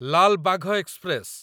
Lal Bagh express